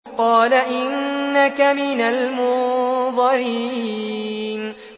قَالَ إِنَّكَ مِنَ الْمُنظَرِينَ